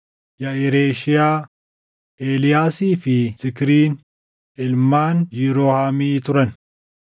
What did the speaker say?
Yaʼireshiyaa, Eeliyaasii fi Zikriin ilmaan Yiroohamii turan.